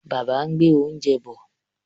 Bàbá ń gbé oúnjẹ bọ̀.